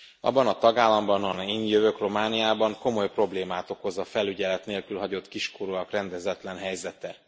Abban a tagállamban, ahonnan én jövök, Romániában, komoly problémát okoz a felügyelet nélkül hagyott kiskorúak rendezetlen helyzete.